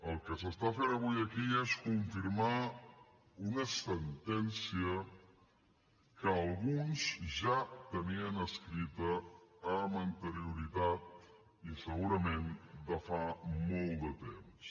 el que s’està fent avui aquí és confirmar una sentència que alguns ja tenien escrita amb anterioritat i segurament de fa molt de temps